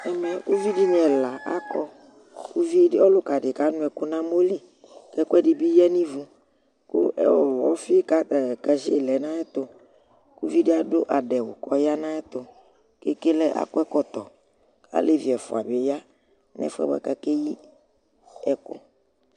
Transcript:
ɛmɛ uvidini ɛlɑ ɑkɔ ɔlukɑdi kɑnuɛku nɑmoli kɛkuɛdibi yɑnivu xku ɔfi cɑziɛ lɛnɑyɛtu kuvidi ɑdu ɑdéwu kɔyɑnayɛtu kɛlɛ ɑkɔɛtɔto ɑlévi ɛfuɑ diyɑ nɛfuɛ kɑkɛyiɛkuɛ